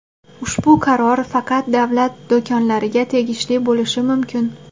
Ushbu qaror faqat davlat do‘konlariga tegishli bo‘lishi mumkin.